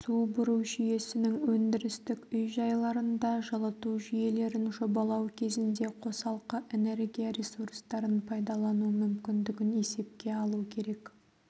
су бұру жүйесінің өндірістік үй-жайларында жылыту жүйелерін жобалау кезінде қосалқы энергия ресурстарын пайдалану мүмкіндігін есепке алу керек